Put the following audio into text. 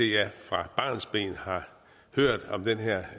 jeg fra barnsben har hørt om den her